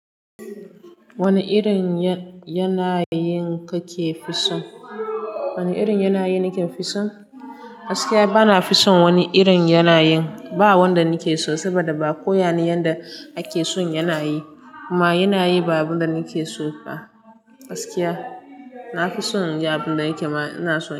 Wane irin yanayi kake fi son? Wane irin yanayi nake fi son? Gaskiya bana fi son wani irin yanayi. Ba wanda nike so saboda ba ko yanayin da ake son yanayi kuma yanayi ba abunda nike so ba. Gaskiya nafi son abinda nake mana suna so.